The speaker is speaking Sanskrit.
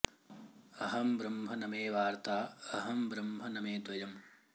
अहं ब्रह्म न मे वार्ता अहं ब्रह्म न मे द्वयम्